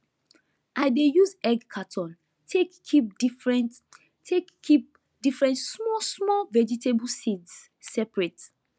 i dey use egg carton take keep different take keep different smallsmall vegetable seeds separate